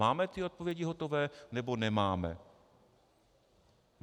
Máme ty odpovědi hotové, nebo nemáme?